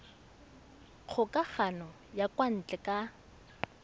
kgokagano ya kwa ntle ka